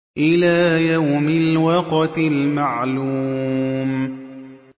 إِلَىٰ يَوْمِ الْوَقْتِ الْمَعْلُومِ